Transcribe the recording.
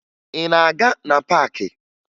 Ị na-aga na paakị?